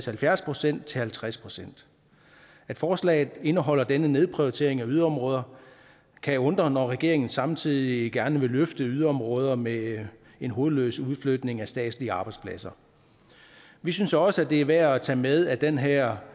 halvfjerds procent til halvtreds procent at forslaget indeholder denne nedprioritering af yderområder kan undre når regeringen samtidig gerne vil løfte yderområder med en hovedløs udflytning af statslige arbejdspladser vi synes også det er værd at tage med at den her